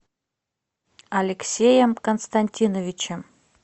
алексеем константиновичем